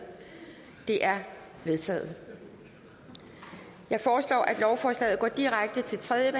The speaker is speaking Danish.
de er vedtaget jeg foreslår at lovforslaget går direkte til tredje